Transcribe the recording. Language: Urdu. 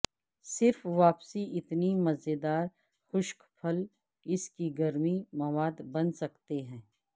صرف واپسی اتنی مزیدار خشک پھل اس کی گرمی مواد بن سکتے ہیں